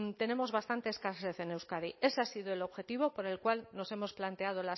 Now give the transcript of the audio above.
tenemos bastantes escasez en euskadi ese ha sido el objetivo por el cual nos hemos planteado